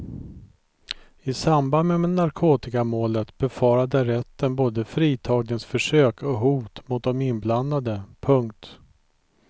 I samband med narkotikamålet befarade rätten både fritagningsförsök och hot mot de inblandade. punkt